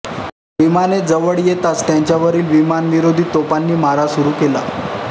विमाने जवळ येताच त्यांच्यावरील विमानविरोधी तोफांनी मारा सुरू केला